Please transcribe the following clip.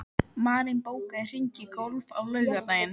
Marín, bókaðu hring í golf á laugardaginn.